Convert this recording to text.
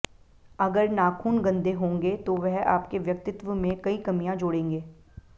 अगर नाखून गंदे होगें तो वह आपके व्यक्तित्व में कई कमियां जोड़ेगें